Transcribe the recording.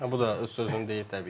Bu da öz sözünü deyir təbii ki.